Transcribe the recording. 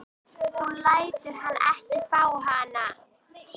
Þú lætur hann ekki fá hana!